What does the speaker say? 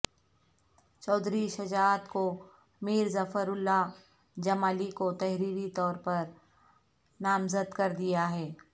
چوہدری شجاعت کو میر ظفر اللہ جمالی کو تحریری طور پر نامزد کر دیا ہے